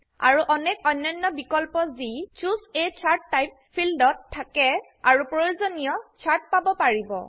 আৰু অনেক অন্যান্য বিকল্প যি চুচে a চাৰ্ট টাইপ ফিল্ড ত থাকে আৰু প্ৰয়োজনীয় চাৰ্ট পাব পাৰিব